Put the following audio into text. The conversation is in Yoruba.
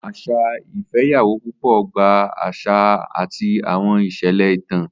Asa ifeyawo pupo gba àṣà, àṣà, àti àwọn ìṣẹ̀lẹ̀ ìtàn.